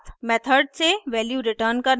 method से value return करना